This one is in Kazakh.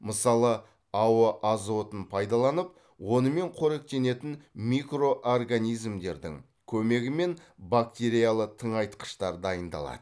мысалы ауа азотын пайдаланып онымен қоректенетін микроорганизмдердің көмегімен бактериялы тыңайтқыштар дайындалады